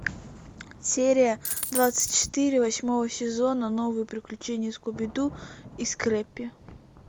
серия двадцать четыре восьмого сезона новые приключения скуби ду и скреппи